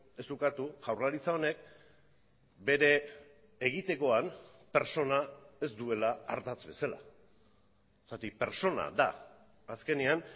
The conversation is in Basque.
ez ukatu jaurlaritza honek bere egitekoan pertsona ez duela ardatz bezala zergatik pertsona da azkenean